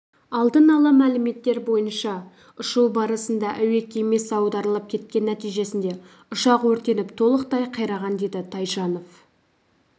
алдын-ала мәліметтер бойынша ұшу барысында әуе кемесі аударылып кеткен нәтижесінде ұшақ өртеніп толықтай қираған деді тайжанов